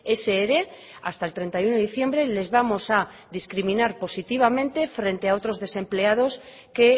ese ere hasta el treinta y uno de diciembre les vamos a discriminar positivamente frente a otros desempleados que